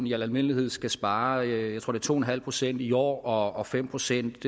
i al almindelighed skal spare jeg tror to en halv procent i år og og fem procent